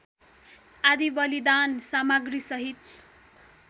आदि बलिदान सामग्रिसहित